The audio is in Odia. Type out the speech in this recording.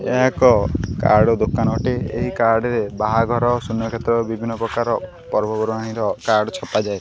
ଏହା ଏକ କାର୍ଡ ର ଦୋକାନ ଅଟେ ଏହି କାର୍ଡ ରେ ବାହାଘର ସୁନକ୍ଷେତ୍ର ବିଭିନ୍ନ ପ୍ରକାରର ପର୍ବ ପର୍ବାଣୀର କାର୍ଡ ଛପାଯାଏ।